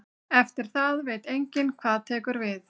Eftir það veit enginn hvað tekur við.